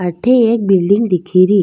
अठे एक बिलडिंग दिखी री।